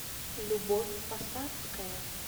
любовь посадская